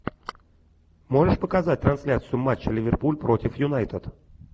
можешь показать трансляцию матча ливерпуль против юнайтед